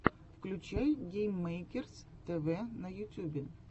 включай гейммэйкерс тэвэ на ютюбе